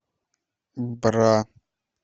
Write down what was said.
бра